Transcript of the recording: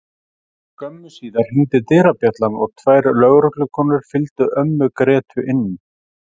Skömmu síðar hringdi dyrabjallan og tvær lögreglukonur fylgdu ömmu Grétu inn.